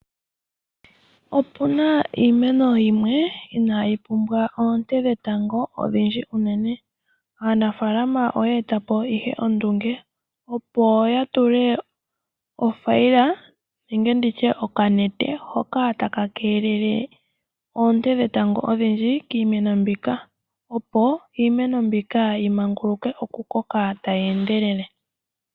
Opuna iimeno yimwe inaa yi pumbwa oonte dhetango odhindji unene. Aanafaalama oya e ta po ihe ondunge opo ya tule othaila nenge okanete hoka taka keelele oonte dhetango odhindji kiimeno mbika opo iimeno mbika yi manguluke oku koka tayi endelele.